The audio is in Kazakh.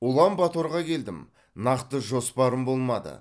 улан баторға келдім нақты жоспарым болмады